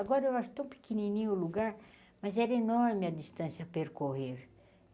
Agora eu acho tão pequenininho o lugar, mas era enorme a distância a percorrer.